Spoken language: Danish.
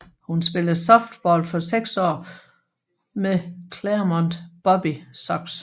Hun spillede softball for seks år med Clairemont Bobby Sox